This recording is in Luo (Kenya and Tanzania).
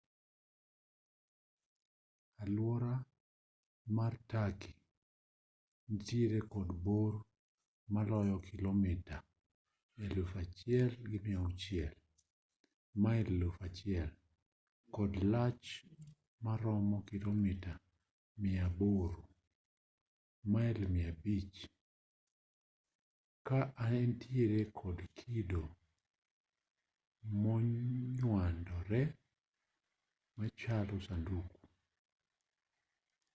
alwora mar turkey nitiere kod bor maloyo kilomita 1,600 mail 1,000 kod lach maromo kilomita 800 mail 500a ka entiere kod kido monywandore machalo sanduku